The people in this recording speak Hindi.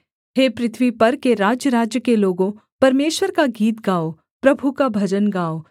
हे पृथ्वी पर के राज्यराज्य के लोगों परमेश्वर का गीत गाओ प्रभु का भजन गाओ सेला